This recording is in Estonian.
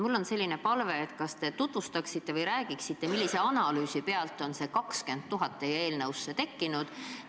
Mul on selline palve: kas te tutvustaksite või räägiksite, millise analüüsi põhjal on see 20 000 teie eelnõusse tekkinud?